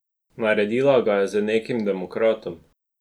Naredila ga je z nekim demokratom.